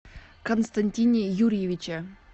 константине юрьевиче